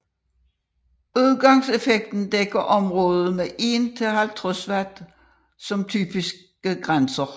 Udgangseffekten dækker området fra 1 til 50 W som typiske grænser